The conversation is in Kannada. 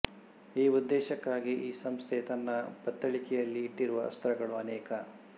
ಈ ಉದ್ದೇಶಕ್ಕಾಗಿ ಈ ಸಂಸ್ಥೆ ತನ್ನ ಬತ್ತಳಿಕೆಯಲ್ಲಿ ಇಟ್ಟಿರುವ ಅಸ್ತ್ರಗಳು ಅನೇಕ